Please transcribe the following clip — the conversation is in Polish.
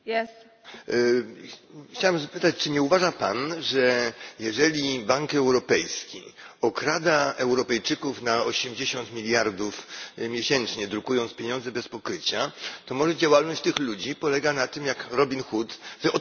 Chciałbym zapytać, czy nie uważa Pan, że jeżeli Bank Europejski okrada Europejczyków na osiemdziesiąt miliardów miesięcznie, drukując pieniądze bez pokrycia, to może działalność tych ludzi polega na tym, jak Robin Hood, że odkradają te pieniądze z powrotem.